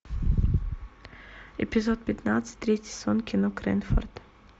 эпизод пятнадцать третий сезон кино крэнфорд